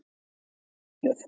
Mér finnst það uppgjöf